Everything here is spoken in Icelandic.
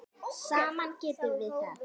Saman getum við það.